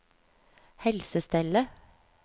helsestellet